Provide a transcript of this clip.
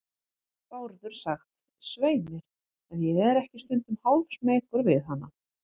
Bárður sagt, svei mér, ef ég er ekki stundum hálfsmeykur við hana.